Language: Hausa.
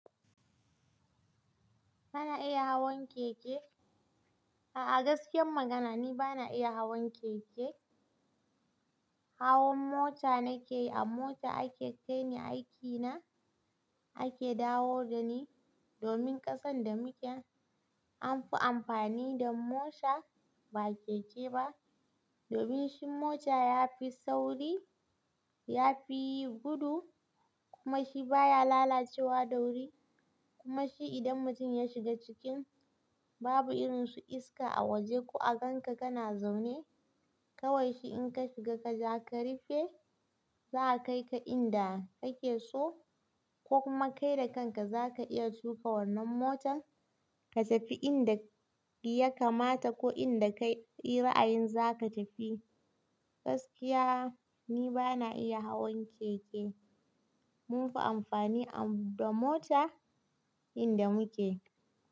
Bana iya hawan keke. A'a gaskiyar magana ni bana iya hawan keke. Hawan mota nake yi, a mota ake kai ni aiki na ake dawo da ni. Domin ƙasan da muke an fi amfani da mota ba keke ba. Domin shi mota ya fi sauri, ya fi gudu kuma shi baya lalacewa da wuri. Kuma shi idan mutum ya shiga ciki babu irin su iska a waje ko a ganka kana zaune. Kawai shi in ka shiga ka ja ka rufe za a kai ka inda kake so ko kuma kai da kanka zaka iya tufa wannan motar ka tafi inda ya kamata ko inda kayi ra'ayin za ka tafi. Gaskiya ni bana iya hawan keke. Munfi amfani da mota inda muke.